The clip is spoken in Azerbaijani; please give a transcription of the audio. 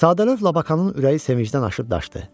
Sadəcə Labakanın ürəyi sevincdən aşıb daşdı.